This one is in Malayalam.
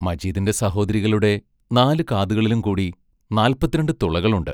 മജീദിന്റെ സഹോദരികളുടെ നാലു കാതുകളിലും കൂടി നാല്പത്തിരണ്ട് തുളകളുണ്ട്.